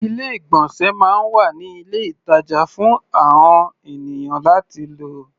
Ilé-ìgbọ̀nsẹ̀ máa ń wà ní ilé-ìtàjà fún àon ènìyàn láti lò.